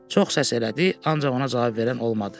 Çox səs elədi, ancaq ona cavab verən olmadı.